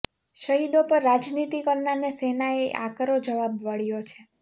શહીદો પર રાજનીતિ કરનારને સેનાએ આકરો જવાબ વાળ્યો છે